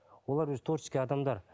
олар өзі творческий адамдар